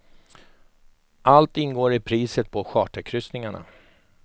Allt ingår i priset på charterkryssningarna.